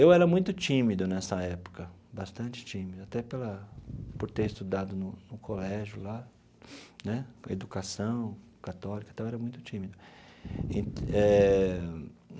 Eu era muito tímido nessa época, bastante tímido, até para por ter estudado no no colégio lá, né educação católica e tal, eu era muito tímido e eh.